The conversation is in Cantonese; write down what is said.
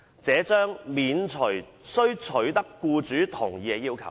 這將免除須取得僱主同意的要求。